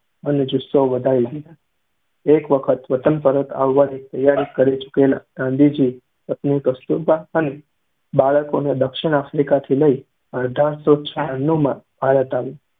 અને જુસ્સો વધારી દીધા. એક વખત વતન પરત આવવાની તૈયારી કરી ચૂકેલા ગાંધીજી પત્ની કસ્તુરબા અને બાળકોને દક્ષિણ આફ્રિકા લઈ આવવા અઢારસો છનુ માં ભારત આવ્યા.